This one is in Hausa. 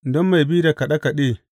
Don mai bi da kaɗe kaɗe.